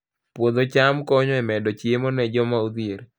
Puodho cham konyo e medo chiemo ne joma odhier